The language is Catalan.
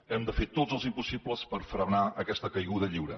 hem de fer tots els impossibles per frenar aquesta caiguda lliure